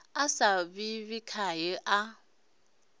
a sa ḓivhi khae a